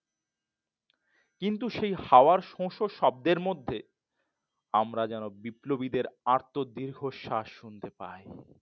কিন্তু সে হাওয়ার শস্য শব্দের মধ্যে আমরা যেন বিপ্লবীদের আত্ম দীর্ঘশ্বাস শুনতে পাই।